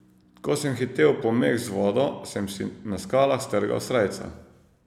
Ko sem hitel po meh z vodo, sem si na skalah strgal srajco.